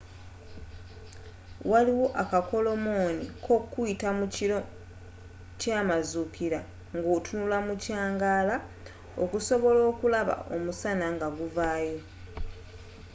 waliwo akakolomoni kokuyita mu kiro kyamazuukira ngotunula mu kyangaala okusobola okulaba omusana ngaguvaayo